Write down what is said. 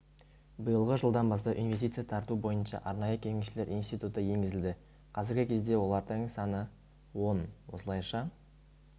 биылғы жылдан бастап инвестиция тарту бойынша арнайы кеңесшілер институты енгізілді қазіргі кезде олардың саны он осылайша